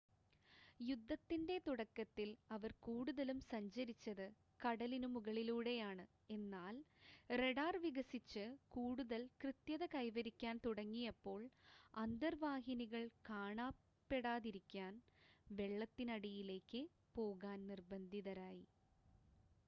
യുദ്ധത്തിൻ്റെ തുടക്കത്തിൽ അവർ കൂടുതലും സഞ്ചരിച്ചത് കടലിനു മുകളിലൂടെയാണ് എന്നാൽ റഡാർ വികസിച്ച് കൂടുതൽ കൃത്യത കൈവരിക്കാൻ തുടങ്ങിയപ്പോൾ അന്തർവാഹിനികൾ കാണാപ്പെടാതിരിക്കാൻ വെള്ളത്തിനടിയിലേക്ക് പോകാൻ നിർബന്ധിതരായി